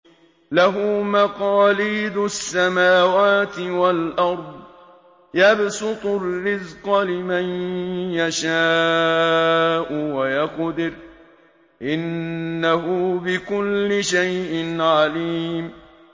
لَهُ مَقَالِيدُ السَّمَاوَاتِ وَالْأَرْضِ ۖ يَبْسُطُ الرِّزْقَ لِمَن يَشَاءُ وَيَقْدِرُ ۚ إِنَّهُ بِكُلِّ شَيْءٍ عَلِيمٌ